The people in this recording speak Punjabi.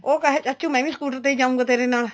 ਉਹ ਕਹੇ ਚਾਚੂ ਮੈਂ ਵੀ scooter ਤੇ ਹੀ ਜਾਉਗਾ ਤੇਰੇ ਨਾਲ